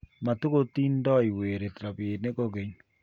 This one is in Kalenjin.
matukutingdoi werit robinik kokeny